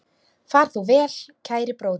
Far þú vel, kæri bróðir.